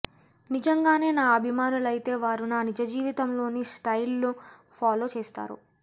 నిజంగానే నా అభిమానులైతే వారు నా నిజజీవితంలోని స్టైల్ను ఫాలో చేస్తారు